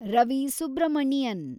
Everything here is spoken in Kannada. ರವಿ ಸುಬ್ರಹ್ಮಣಿಯನ್